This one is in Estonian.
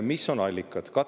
Mis on allikad?